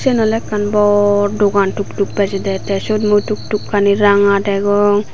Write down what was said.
iyan ole ekkan bor dogan tuk tuk bejede the sut mui tuk tukkani ranga degong.